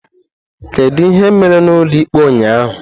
Kedu ihe mere n'ụlọikpe ụnyaahụ?